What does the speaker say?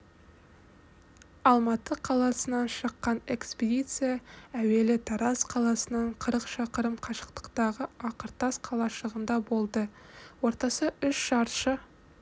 алматы қаласынан шыққан экспедиция әуелі тараз қаласынан қырық шақырым қашықтықтағы ақыртас қалашығында болды ортасы үш шаршы